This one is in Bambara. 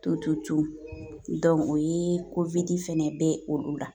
To o ye fɛnɛ bɛ olu la